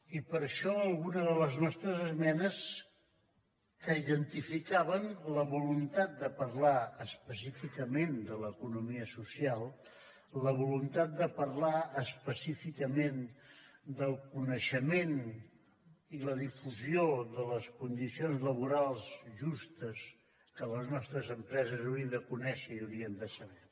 i per això alguna de les nostres esmenes que identificaven la voluntat de parlar específicament de l’economia social la voluntat de parlar específicament del coneixement i la difusió de les condicions laborals justes que les nostres empreses haurien de conèixer i haurien de saber